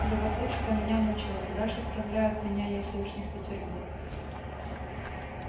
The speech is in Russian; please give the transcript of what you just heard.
любопытство меня мучило куда ж отправляют меня если уж не в петербург